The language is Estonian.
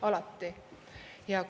Alati!